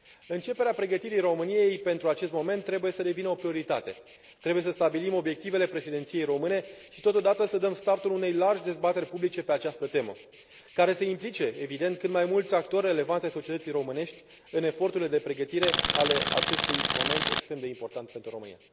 Începerea pregătirii României pentru acest moment trebuie să devină o prioritate, trebuie să stabilim obiectivele președinției române și, totodată, să dăm startul unei largi dezbateri publice pe această temă, care să implice, evident, cât mai mulți actori relevanți ai societății românești în eforturile de pregătire ale acestui moment extrem de important pentru România.